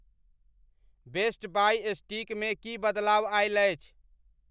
best buy stick मे की बदलाव आयल अछि